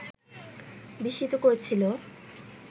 বিস্মিত করেছিল